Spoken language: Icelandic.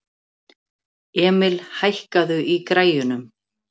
Emil, hækkaðu í græjunum.